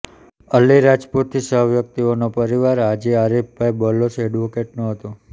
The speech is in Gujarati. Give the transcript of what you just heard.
અલીરાજપુરથી છ વ્યક્તિઓનો પરિવાર હાજી આરીફભાઈ બલોચ એડવોકેટનો હતો